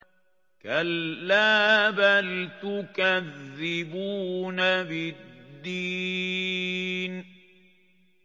كَلَّا بَلْ تُكَذِّبُونَ بِالدِّينِ